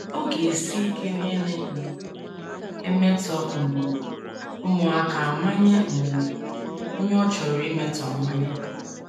Ọ ga - esi ike onye na - um emetọ um ụmụaka amanye um onye ọ chọrọ imetọ amanye.